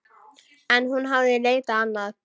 En hún hafði leitað annað.